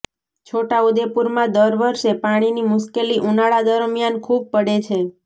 છોટાઉદેપુરમાં દર વર્ષે પાણીની મુશ્કેલી ઉનાળા દરમિયાન ખૂબ પડે છે